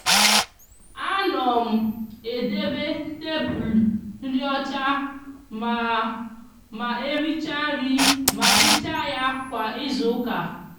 a no m edebe tablu nri ocha ma ma ericha nri ma hicha ya kwa izuuka.